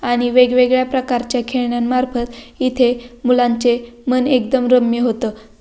आणि वेगवेगळ्या प्रकारच्या खेळण्यांमार्फत येथे मुलांचे मन एकदम रम्य होत.